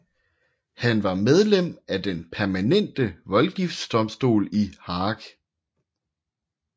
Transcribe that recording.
Han var medlem af den permanente voldgiftsdomstol i Haag